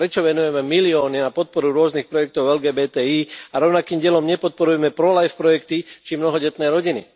Prečo venujeme milióny na podporu rôznych projektov LGBTI a rovnakým dielom nepodporujeme prolife projekty, či mnohodetné rodiny.